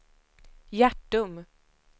Hjärtum